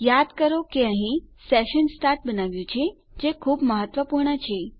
યાદ કરો કે અહીં આપણે સેશન સ્ટાર્ટ બનાવ્યું છે જે ખુબ મહત્વપૂર્ણ છે